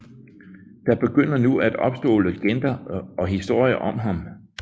Der begynder nu at opstå legender og historier om ham